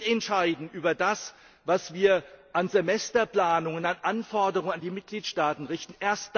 Wir wollen mitentscheiden über das, was wir an Semesterplanungen festlegen und an Anforderungen an die Mitgliedstaaten richten.